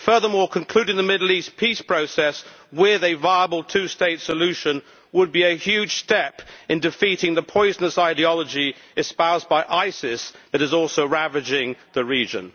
Furthermore, concluding the Middle East peace process with a viable two state solution would be a huge step in defeating the poisonous ideology espoused by ISIS that is also ravaging the region.